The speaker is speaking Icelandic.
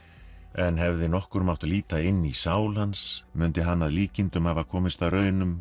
en hefði nokkur mátt líta inn í sál hans mundi hann að líkindum hafa komist að raun um